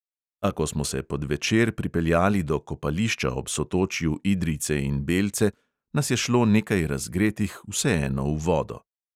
A ko smo se pod večer pripeljali do kopališča ob sotočju idrijce in belce, nas je šlo nekaj razgretih vseeno v vodo ...